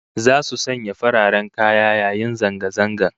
Zasu sanya fararen kaya yayin zanga zangan